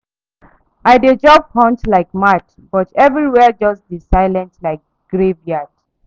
I dey job hunt like mad, but everywhere just dey silent like graveyard.